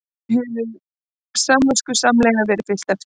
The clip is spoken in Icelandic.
Þessu hefur samviskusamlega verið fylgt eftir